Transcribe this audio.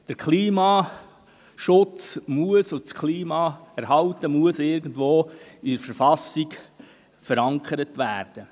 Der Klimaschutz muss irgendwo in der Verfassung verankert werden.